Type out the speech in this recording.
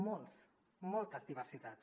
molts moltes diversitats